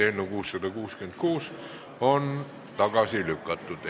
Eelnõu 666 on esimesel lugemisel tagasi lükatud.